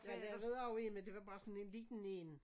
Jeg lavede også en men det var bare sådan en liten én